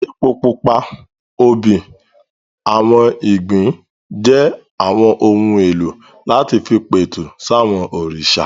Epo pupa, obì, àwọn ìgbín jẹ́ àwọn ohun èlò láti fi pẹ̀tù sí àwọn òrìṣà